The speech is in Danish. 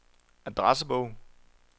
adressebog